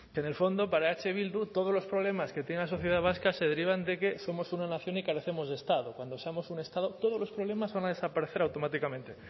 de en el fondo para eh bildu todos los problemas que tiene la sociedad vasca se derivan de que somos una nación y carecemos de estado cuando seamos un estado todos los problemas van a desaparecer automáticamente